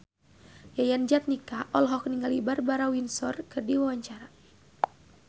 Yayan Jatnika olohok ningali Barbara Windsor keur diwawancara